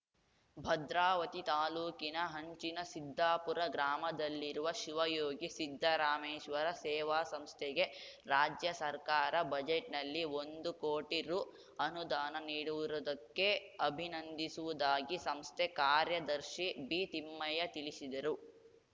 ಭದ್ರಾವತಿ ತಾಲೂಕಿನ ಹಂಚಿನ ಸಿದ್ದಾಪುರ ಗ್ರಾಮದಲ್ಲಿರುವ ಶಿವಯೋಗಿ ಸಿದ್ದರಾಮೇಶ್ವರ ಸೇವಾ ಸಂಸ್ಥೆಗೆ ರಾಜ್ಯ ಸರ್ಕಾರ ಬಜೆಟ್‌ನಲ್ಲಿ ಒಂದು ಕೋಟಿ ರು ಅನುದಾನ ನೀಡುರುವುದಕ್ಕೆ ಅಭಿನಂದಿಸುವುದಾಗಿ ಸಂಸ್ಥೆ ಕಾರ್ಯದರ್ಶಿ ಬಿ ತಿಮ್ಮಯ್ಯ ತಿಳಿಸಿದರು